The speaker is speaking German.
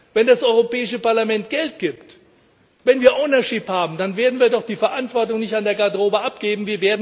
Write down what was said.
Wenn das Europäische Parlament Geld gibt, wenn wir Ownership haben, dann werden wir doch die Verantwortung nicht an der Garderobe abgeben.